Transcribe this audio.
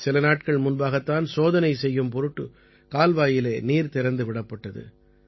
சில நாட்கள் முன்பாகத் தான் சோதனை செய்யும் பொருட்டு கால்வாயிலே நீர் திறந்து விடப்பட்டது